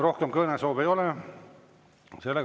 Rohkem kõnesoove ei ole.